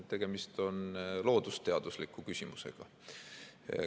Tegemist on loodusteadusliku küsimusega.